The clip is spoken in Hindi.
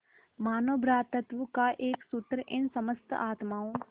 मानों भ्रातृत्व का एक सूत्र इन समस्त आत्माओं